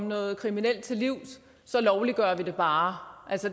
noget kriminelt til livs så lovliggør vi det bare